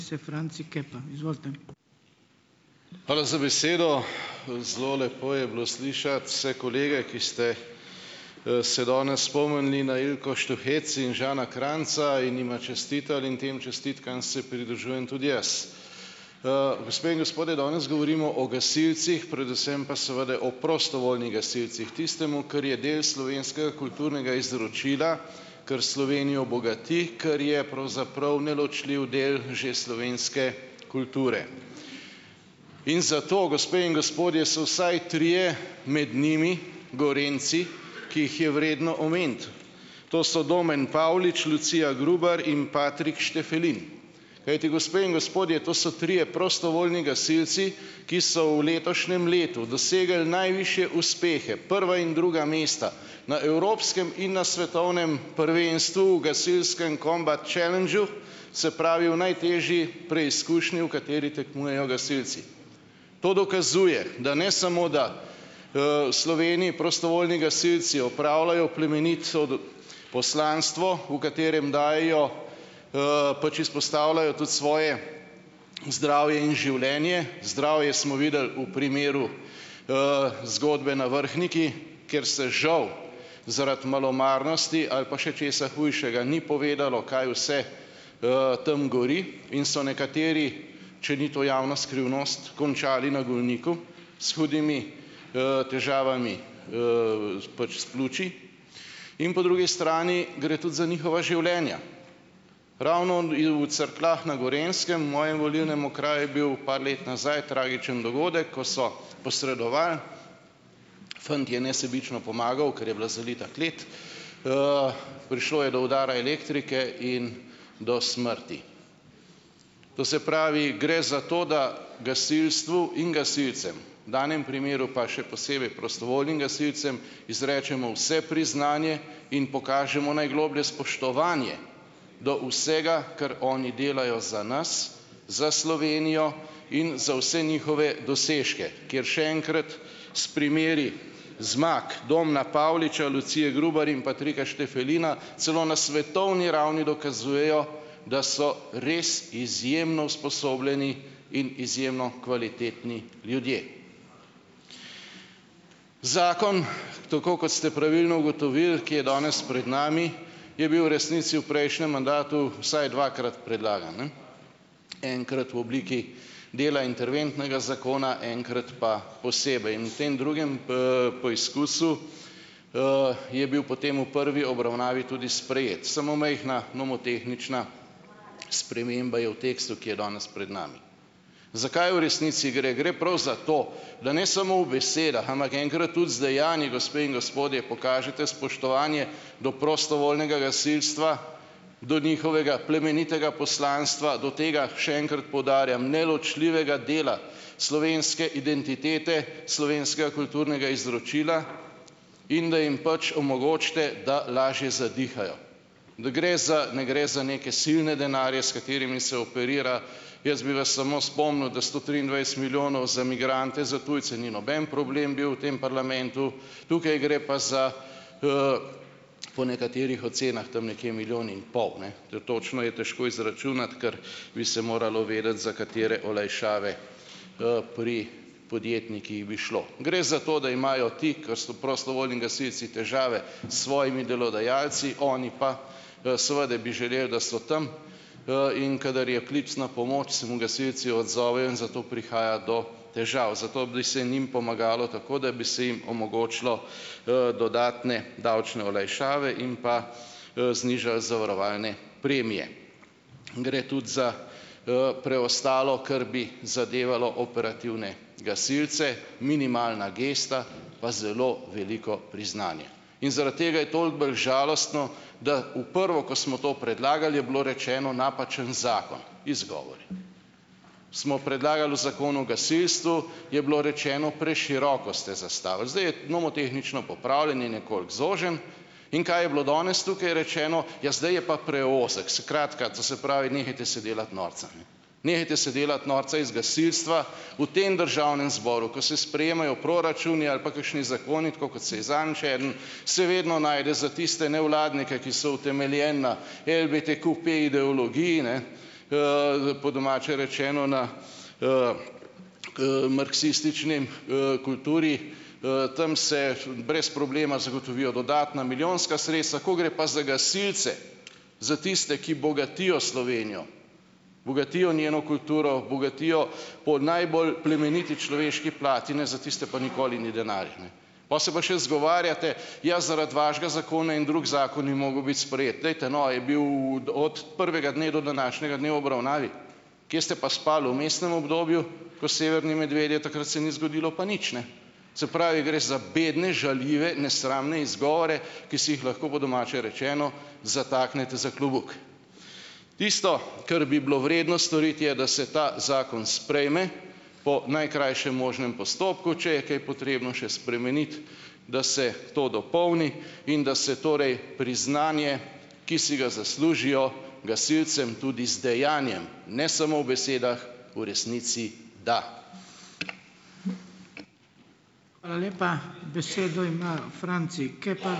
Hvala za besedo. Zelo lepo je bilo slišati vse kolege, ki ste, se danes spomnili na Ilko Štuhec in Žana Kranjca in jima čestitali in tem čestitkam se pridružujem tudi jaz. Gospe in gospodje, danes govorimo o gasilcih, predvsem pa seveda o prostovoljnih gasilcih, tistemu, kar je del slovenskega kulturnega izročila, kar Slovenijo bogati, kar je pravzaprav neločljiv del že slovenske kulture. In zato, gospe in gospodje, so vsaj trije med njimi Gorenjci, ki jih je vredno omeniti, to so Domen Pavlič, Lucija Grubar in Patrik Štefelin, kajti gospe in gospodje, to so trije prostovoljni gasilci, ki so v letošnjem letu dosegli najvišje uspehe, prva in druga mesta na evropskem in na svetovnem prvenstvu v gasilskem combat challengeu, se pravi v najtežji preizkušnji, v kateri tekmujejo gasilci. To dokazuje, da ne samo da, v Sloveniji prostovoljni gasilci opravljajo plemenito poslanstvo, v katerem dajejo, pač izpostavljajo tudi svoje zdravje in življenje. Zdravje smo videli v primeru, zgodbe na Vrhniki, kjer se žal zaradi malomarnosti ali pa še česa hujšega ni povedalo, kaj vse, tam gori, in so nekateri, če ni to javna skrivnost, končali na Golniku s hudimi, težavami, s pač s pljuči. In po drugi strani gre tudi za njihova življenja. Ravno v Cerkljah na Gorenjskem v mojem volilnem okraju je bil par let nazaj tragičen dogodek, ko so posredovali, fant je nesebično pomagal, ker je bila zalita klet, prišlo je do udara elektrike in do smrti. To se pravi, gre za to, da gasilstvu in gasilcem, v danem primeru pa še posebej prostovoljnim gasilcem izrečemo vse priznanje in pokažemo najgloblje spoštovanje do vsega, kar oni delajo za nas, za Slovenijo in za vse njihove dosežke, ker, še enkrat, s primeri zmag Domna Pavliča, Lucije Grubar in Patrika Štefelina celo na svetovni ravni dokazujejo, da so res izjemno usposobljeni in izjemno kvalitetni ljudje. Zakon, tako kot ste pravilno ugotovili, ki je danes pred nami, je bil v resnici v prejšnjem mandatu vsaj dvakrat predlagan, ne, enkrat v obliki dela interventnega zakona, enkrat pa posebej. In v tem drugem poizkusu, je bil potem v prvi obravnavi tudi sprejet, samo majhna nomotehnična sprememba je v tekstu, ki je danes pred nami. Zakaj v resnici gre? Gre prav za to, da ne samo v besedah, ampak enkrat tudi z dejanji, gospe in gospodje, pokažete spoštovanje do prostovoljnega gasilstva, do njihovega plemenitega poslanstva, do tega, še enkrat poudarjam, neločljivega dela slovenske identitete, slovenskega kulturnega izročila in da jim pač omogočite, da lažje zadihajo. Ne gre za, ne gre za neke silne denarje, s katerimi se operira. Jaz bi vas samo spomnil, da sto triindvajset milijonov za migrante, za tujce ni noben problem bil v tem parlamentu. Tukaj gre pa za, po nekaterih ocenah, tam nekje milijon in pol, ne. To je točno je težko izračunati, ker bi se moralo vedeti, za katere olajšave, pri podjetnikih bi šlo. Gre za to, da imajo ti, ker so prostovoljni gasilci, težave s svojimi delodajalci, oni pa, seveda bi želeli, da so tam, in kadar je klic na pomoč, se mu gasilci odzovejo in zato prihaja do težav. Zato bi se njim pomagalo tako, da bi se jim omogočilo, dodatne davčne olajšave in pa, znižali zavarovalne premije. Gre tudi za, preostalo, kar bi zadevalo operativne gasilce, minimalna gesta, pa zelo veliko priznanje. In zaradi tega je toliko bolj žalostno, da v prvo, ko smo to predlagali, je bilo rečeno, napačen zakon. Izgovori. Smo predlagali v Zakonu o gasilstvu, je bilo rečeno, preširoko ste zastavili. Zdaj je nomotehnično popravljen in nekoliko zožen. In kaj je bilo danes tukaj rečeno? Ja, zdaj je pa preozek. Skratka, to se pravi, nehajte se delati norca, ne, nehajte se delati norca iz gasilstva. V tem državnem zboru, ko se sprejemajo proračuni ali pa kakšni zakoni, tako kot se je zadnjič eden, se vedno najde za tiste nevladnike, ki so utemeljeni na LBTQP-ideologiji, ne, po domače rečeno, na marksistični, kulturi. Tam se nerazumljivo brez problema zagotovijo dodatna milijonska sredstva. Ko gre pa za gasilce, za tiste, ki bogatijo Slovenijo, bogatijo njeno kulturo, bogatijo po najbolj plemeniti človeški plati, ne, za tiste pa nikoli ni denarja, ne. Pol se pa še izgovarjate, ja, zaradi vašega zakona en drug zakon ni mogel biti sprejet. Dajte no, a je bil od prvega dne do današnjega dne v obravnavi. Kje ste pa spali v vmesnem obdobju ko severni medvedje, takrat se ni zgodilo pa nič, ne? Se pravi, gre za bedne, žaljive, nesramne izgovore, ki si jih lahko po domače rečeno zataknete za klobuk. Tisto, kar bi bilo vredno storiti, je, da se ta zakon sprejme po najkrajšem možnem postopku. Če je kaj potrebno še spremeniti, da se to dopolni, in da se torej priznanje, ki si ga zaslužijo, gasilcem tudi z dejanjem, ne samo v besedah, v resnici da.